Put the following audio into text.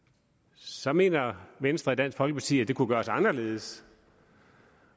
så mener venstre og dansk folkeparti at det kunne gøres anderledes